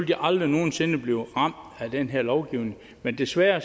de aldrig nogen sinde blive ramt af den her lovgivning men desværre